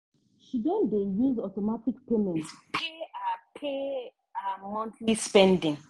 she don dey use automatic payment pay her pay her monthly spending.